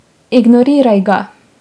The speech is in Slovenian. Ignoriraj ga!